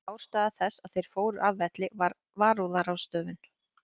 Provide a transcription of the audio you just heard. Ástæða þess að þeir fóru af velli var varúðarráðstöfun.